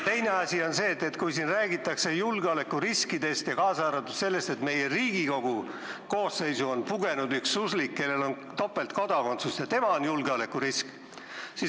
Teine asi on see, et siin räägitakse julgeolekuriskidest, kaasa arvatud sellest, et meie Riigikogu koosseisu on pugenud üks suslik, kellel on topeltkodakondsus ja kes on julgeolekurisk.